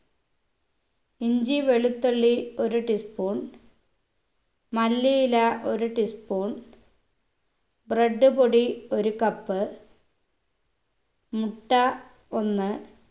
ഇഞ്ചി വെളുത്തുള്ളി ഒരു tea spoon മല്ലിയില ഒരു tea spoon bread പൊടി ഒരു cup മുട്ട ഒന്ന്